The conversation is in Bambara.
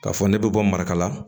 K'a fɔ ne bɛ bɔ marakala